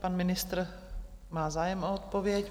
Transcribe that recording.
Pan ministr má zájem o odpověď.